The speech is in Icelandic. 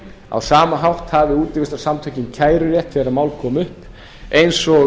á sama hátt hafi útivistarsamtökin kærurétt þegar mál koma upp eins og